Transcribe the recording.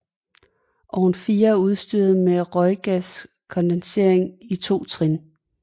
Ovn 4 er udstyret med røggaskondensering i 2 trin